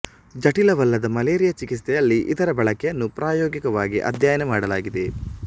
ಜಟಿಲವಲ್ಲದ malaria ಚಿಕಿತ್ಸೆಯಲ್ಲಿ ಇದರ ಬಳಕೆಯನ್ನು ಪ್ರಾಯೋಗಿಕವಾಗಿ ಅಧ್ಯಯನ ಮಾಡಲಾಗಿದೆ